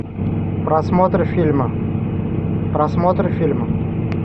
просмотр фильма просмотр фильма